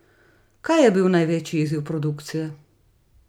Kaj je bil največji izziv produkcije?